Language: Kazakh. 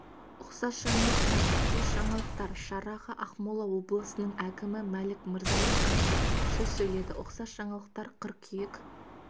ұқсас жаңалықтар ұқсас жаңалықтар шараға ақмола облысының әкімі мәлік мырзалин қатысып сөз сөйледі ұқсас жаңалықтар қыркүйек